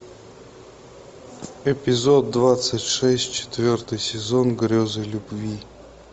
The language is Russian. эпизод двадцать шесть четвертый сезон грезы любви